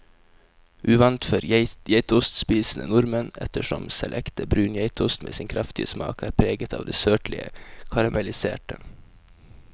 Uvant for geitostspisende nordmenn, ettersom selv ekte brun geitost med sin kraftige smak er preget av det søtlige karamelliserte.